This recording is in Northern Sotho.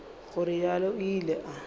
go realo o ile a